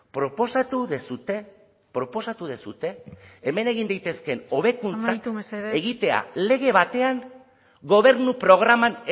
proposatu duzue proposatu duzue hemen egin daitezkeen hobekuntza amaitu mesedez egitea lege batean gobernu programan